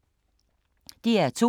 DR2